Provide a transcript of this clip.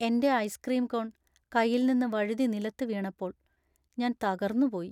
എന്‍റെ ice cream cone കൈയിൽനിന്ന് വഴുതി നിലത്ത് വീണപ്പോൾ ഞാൻ തകർന്നുപോയി.